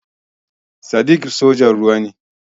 Sadiq sojan ruwa ne.